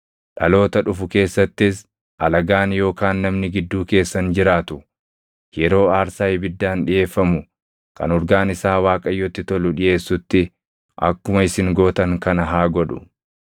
Dhaloota dhufu keessattis alagaan yookaan namni gidduu keessan jiraatu yeroo aarsaa ibiddaan dhiʼeeffamu kan urgaan isaa Waaqayyotti tolu dhiʼeessutti akkuma isin gootan kana haa godhu.